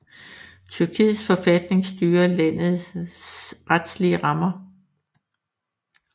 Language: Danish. Tyrkiets forfatning styrer landets retlige rammer